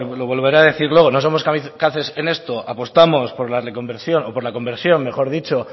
lo volveré a decir luego no somos kamikazes en esto apostamos por la reconversión o por la conversión mejor dicho